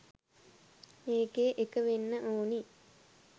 මේකේඑක වෙන්න ඕනි